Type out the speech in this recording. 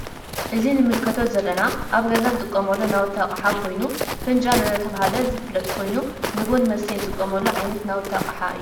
እዚ ንምልከቶ ዘለና አብ ገዛ እንጥቀመሉ ናውቲ አቅሓ ኮይኑ ፈንጃል እናተባህለ ዝፍለጥ ኮይኑ ንቡና መስተይ እንጥቀመሉ ዓይነት ናውቲ አቅሓ ።